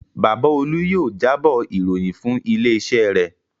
Bàbá Olú yóò jábọ̀ ìròyìn fún ilé-iṣẹ́ rẹ̀.